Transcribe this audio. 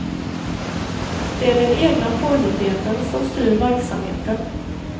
Det är den egna påhittigheten som styr verksamheten.